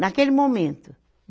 Naquele momento.